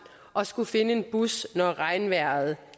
og skulle finde en bus når regnvejret